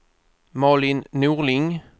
Malin Norling